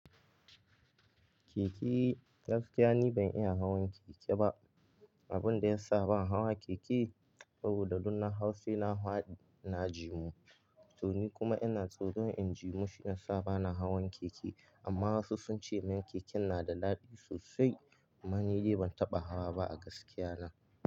Keke, gaskiya ni ban iya hawan keke ba. Abin da ya sa ban hawa keke saboda dunnan Hau sai na hwaɗi na jimu. To ni kuma ina tsoron in jimu shiyasa ba na hawan keke. Amma wasu sun ce min keken na da daɗi sosai amma ni dai ban taɓa hawa ba a gaskiya na.